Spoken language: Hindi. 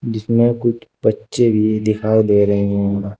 जिसमें कुछ बच्चे भी दिखाई दे रहे हैं।